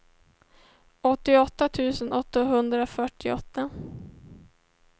åttioåtta tusen åttahundrafyrtioåtta